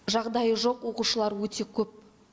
жағдайы жоқ оқушылар өте көп